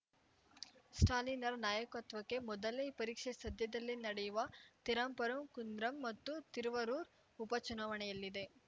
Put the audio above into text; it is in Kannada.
ಸ್ಟಾಲಿನ್‌ರ ನಾಯಕತ್ವಕ್ಕೆ ಮೊದಲೇ ಪರೀಕ್ಷೆ ಸದ್ಯದಲ್ಲೇ ನಡೆಯುವ ತಿರುಪರಂಕುಂದ್ರಂ ಮತ್ತು ತಿರುವರೂರ್‌ ಉಪ ಚುನಾವಣೆಯಲ್ಲಿದೆ